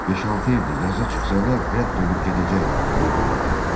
Beş-altı evdir, yaza çıxsalar rədd olub gedəcəklər bu viranədən.